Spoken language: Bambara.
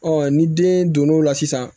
ni den don n'o la sisan